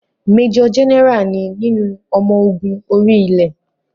Mẹ́jọ̀ Jẹ́nẹ́rà ni nínú ọmọ ogun orí-ilẹ̀